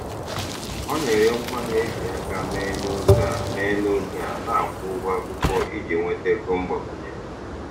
Ọ na-ere ngwaahịa e ji aka mee n'oge a mee n'oge a na-akwụ ụgwọ akwụkwọ iji nweta ego mgbakwunye.